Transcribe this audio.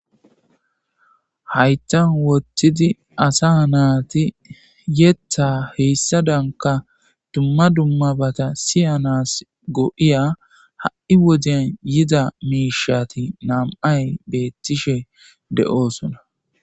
Haytan wottidi asa naati yetta heyssa danka dumma dummabata siyanas go'iya ha'i wodeyan yida miishati nam'ay beettishe de'oosona.